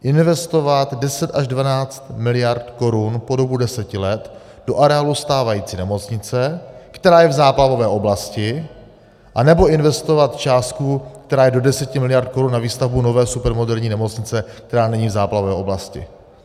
Investovat 10 až 12 miliard korun po dobu deseti let do areálu stávající nemocnice, která je v záplavové oblasti, nebo investovat částku, která je do 10 miliard korun na výstavbu nové supermoderní nemocnice, která není v záplavové oblasti?